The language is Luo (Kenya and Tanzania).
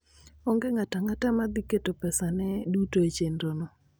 Onge ng'ato ang'ata ma ne dhi keto pesane duto e chenrono.